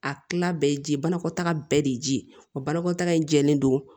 A kila bɛɛ ye ji ye banakɔtaga bɛɛ de ye ji ye o banakɔtaga in jɛlen don